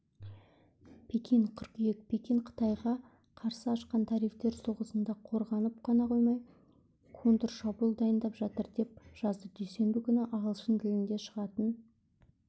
пекин қыркүйек пекин қытайға қарсы ашқан тарифтер соғысында қорғанып қана қоймай контршабуыл дайындап жатыр деп жазды дүйсенбі күні ағылшын тілінде шығатын